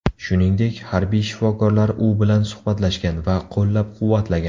Shuningdek, harbiy shifokorlar u bilan suhbatlashgan va qo‘llab-quvvatlagan.